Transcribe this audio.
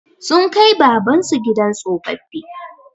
Sun kai Baban su gidan tsofaffi.